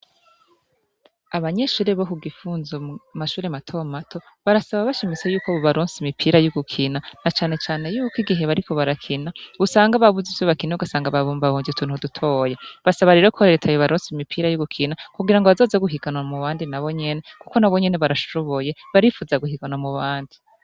Abanyeshure bo ku Gifunzo mu mashure matomato barasaba bashimitse yuko bobaronsa imipira y'ugukina na canecane yuko igihe bariko barakina usanga babuze ivyo bakina ugasanga babumbabumvye utuntu dutoya, basaba rero ko reta yobaronsa imipira y'ugukina kugira ngo bazoze guhiganwa mu bandi nabo nyene, kuko nabo nyene barashoboye barifuza guhiganwa mu bandi.